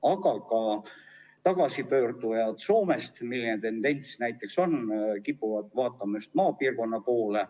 Aga on ka selline tendents, et Soomest tagasipöördujad kipuvad vaatama just maapiirkonna poole.